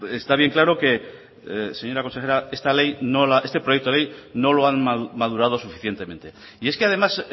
está bien claro señora consejera que este proyecto de ley no lo han madurado suficientemente y es que además